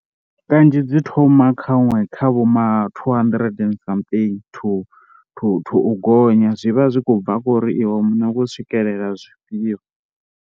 Kanzhi dzi thoma khaṅwe kha vho mathuu handirente and something thu thu, u gonya zwi vha zwi khou bva kho ri iwe muṋe u khou swikelela zwifhio.